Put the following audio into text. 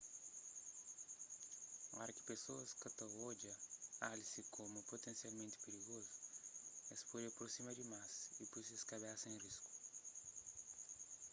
oras ki pesoas ka ta odja alse komu putensialmenti pirigozu es pode aprosima dimás y poi ses kabesa en risku